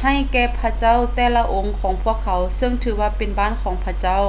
ໃຫ້ແກ່ພະເຈົ້າແຕ່ລະອົງຂອງພວກເຂົາເຊິ່ງຖືວ່າເປັນບ້ານຂອງພະເຈົ້າ